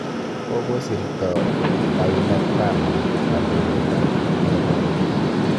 Kokosirto Dhlakama kandoindet ab RENAMO